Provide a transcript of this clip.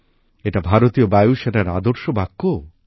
এটা ভারতীয় বায়ুসেনার আদর্শ বাক্যও